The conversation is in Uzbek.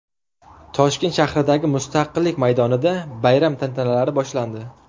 Toshkent shahridagi Mustaqillik maydonida bayram tantanalari boshlandi .